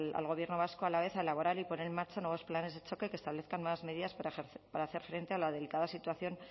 al gobierno vasco a la vez a elaborar y poner en marcha nuevos planes de choque que establezcan unas medidas para hacer frente a la delicada situación